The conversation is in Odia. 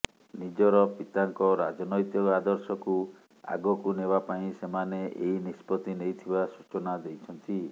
ନିଜର ପିତାଙ୍କ ରାଜନୈତିକ ଆଦର୍ଶକୁ ଆଗକୁ ନେବା ପାଇଁ ସେମାନେ ଏହି ନିଷ୍ପତ୍ତି ନେଇଥିବା ସୂଚନା ଦେଇଛନ୍ତି